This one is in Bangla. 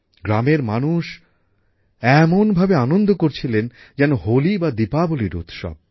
গ্রামের মানুষ এমনভাবে আনন্দ করছিলেন যেন হোলি বা দীপাবলির উৎসব